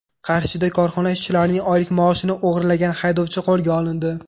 Qarshida korxona ishchilarining oylik maoshini o‘g‘irlagan haydovchi qo‘lga olindi.